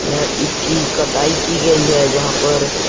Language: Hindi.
य इसकी कटाई की गयी है जहाँ पर --